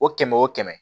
O kɛmɛ o kɛmɛ